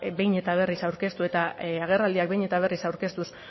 behin eta berriz aurkeztu eta agerraldiak behin eta berriz aurkeztuz